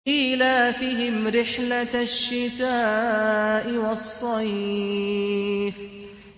إِيلَافِهِمْ رِحْلَةَ الشِّتَاءِ وَالصَّيْفِ